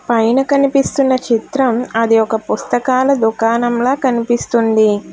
పైన కనిపిస్తున్న చిత్రం అది ఒక పుస్తకాల దుకాణంలా కనిపిస్తుంది.